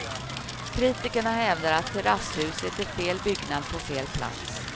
Kritikerna hävdar att terrasshuset är fel byggnad på fel plats.